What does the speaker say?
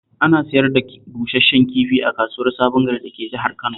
Ana sayar da busash-shen kifi a kasuwar Sabon Gari dake Jihar Kano